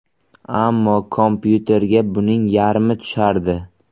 Ammo kompyuterga buning yarmi tushardi.